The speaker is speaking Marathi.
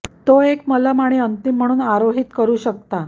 तो एक मलम आणि अंतिम म्हणून आरोहित करू शकता